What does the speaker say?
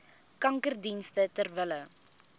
kankerdienste ter wille